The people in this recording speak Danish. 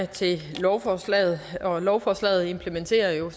til lovforslaget lovforslaget implementerer jo